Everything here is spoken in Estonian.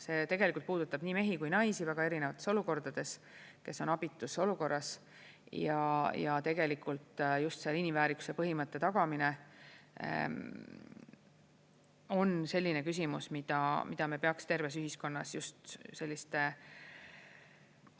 See tegelikult puudutab nii mehi kui ka naisi väga erinevates olukordades, kes on abitus olukorras, ja tegelikult just inimväärikuse põhimõtte tagamine on selline küsimus, mida, mida me peaks terves ühiskonnas just selliste